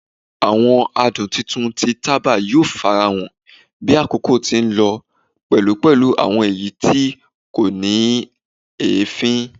Awọn adun titun ti taba yoo farahan bi akoko ti nlọ pẹlu pẹlu awọn ẹya ti ko ni eefin